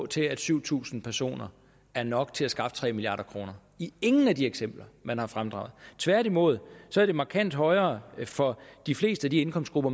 til at syv tusind personer er nok til at skaffe tre milliard kroner i ingen af de eksempler man har fremdraget tværtimod så er det markant højere for de fleste af de indkomstgrupper